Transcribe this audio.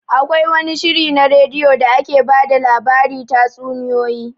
Akwai wani shiri na radio da ake ba da labari tatsuniyoyi